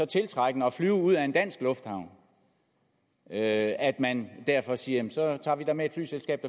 tiltrækkende at flyve ud af en dansk lufthavn at at man derfor siger så tager vi da med et flyselskab